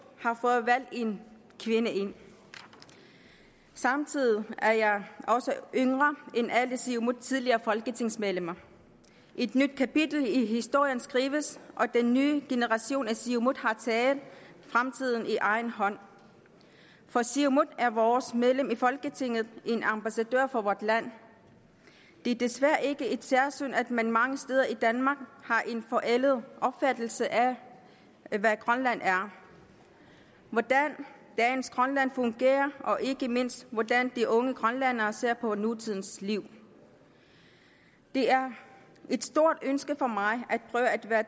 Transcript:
har fået valgt en kvinde ind samtidig er jeg også yngre end alle siumuts tidligere folketingsmedlemmer et nyt kapitel i historien skrives og den nye generation i siumut har taget fremtiden i egen hånd for siumut er vores medlem i folketinget en ambassadør for vort land det er desværre ikke et særsyn at man mange steder i danmark har en forældet opfattelse af hvad grønland er hvordan dagens grønland fungerer og ikke mindst hvordan de unge grønlændere ser på nutidens liv det er et stort ønske for mig